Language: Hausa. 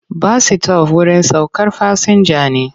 Bas-sitof wurin saukar fasinja ne.